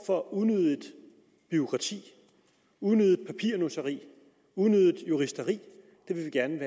for unødigt bureaukrati unødigt papirnusseri unødigt juristeri vil vi gerne